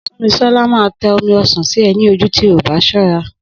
Súnmisọ́lá máa tẹ omi ọsàn sí e ní ojú tí o bá ṣọ́ra